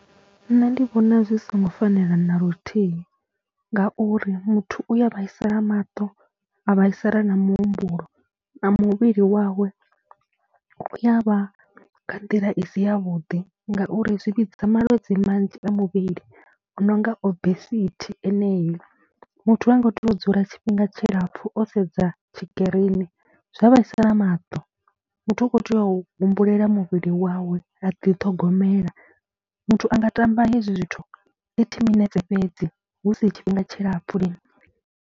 Nṋe ndi vhona zwi songo fanela na luthihi ngauri muthu u ya vhaisala maṱo, a vhaisala na muhumbulo na muvhili wawe u ya vha nga nḓila i si yavhuḓi ngauri zwi vhidza malwadze manzhi a muvhili, o no nga obesithi enei, muthu ha ngo tea u dzula tshifhinga tshilapfhu o sedza tshikirini zwa a vhaisa na maṱo. Muthu u khou tea u humbulela muvhili wawe, a ḓithogomela, muthu a nga tamba hezwi zwithu thirty minetse fhedzi hu si tshifhinga tshilapfhu.